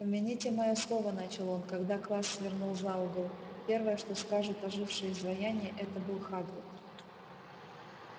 помяните моё слово начал он когда класс свернул за угол первое что скажут ожившие изваяния это был хагрид